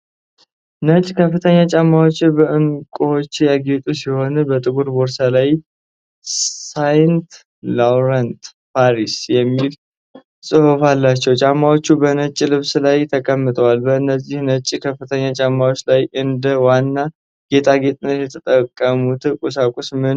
ነጭ ከፍተኛ ጫማዎች በእንቁዎች ያጌጡ ሲሆን፣ በጥቁር ጀርባ ላይ "SAINT LAURENT PARIS" የሚል ጽሑፍ አላቸው። ጫማዎቹ በነጭ ልብስ ላይ ተቀምጠዋል። በእነዚህ ነጭ ከፍተኛ ጫማዎች ላይ እንደ ዋና ጌጣጌጥነት የተጠቀሙበት ቁሳቁስ ምንድን ነው?